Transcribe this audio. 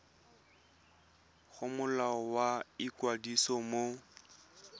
go molao wa ikwadiso wa